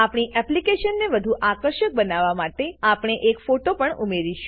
આપણી એપ્લીકેશનને વધુ આકર્ષક બનાવવા માટે આપણે એક ફોટો પણ ઉમેરીશું